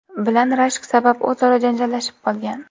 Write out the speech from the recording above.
bilan rashk sabab o‘zaro janjallashib qolgan.